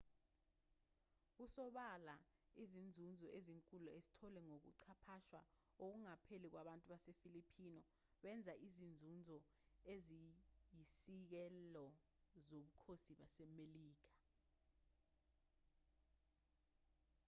kusobala izinzuzo ezinkulu ezitholwe ngokuxhaphazwa okungapheli kwabantu basefilipino benza izinzuzo eziyisisekelo zobukhosi basemelika